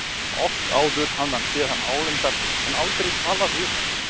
Oft áður hafði hann séð hann álengdar en aldrei talað við hann.